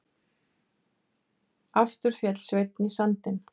Aftur féll Sveinn í sandinn.